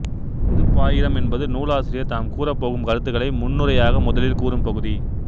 பொதுப் பாயிரம் என்பது நூலாசிரியர் தாம் கூறப்போகும் கருத்துக்களை முன்னுரையாக முதலில் கூறும் பகுதி